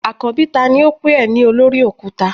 Akanbi tani o pe e ni olori okuta?